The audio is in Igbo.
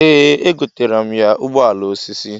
Ee egotara m ya ụgbọala osisi.